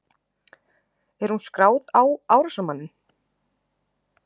Er hún skráð á árásarmanninn?